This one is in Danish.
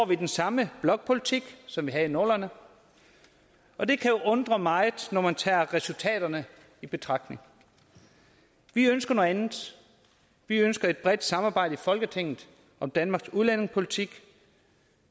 vi den samme blokpolitik som vi havde i nullerne og det kan undre meget når man tager resultaterne i betragtning vi ønsker noget andet vi ønsker et bredt samarbejde i folketinget om danmarks udlændingepolitik